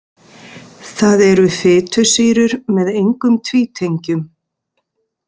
Það eru fitusýrur með engum tvítengjum.